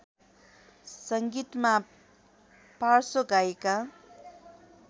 सङ्गीतमा पार्श्व गायिका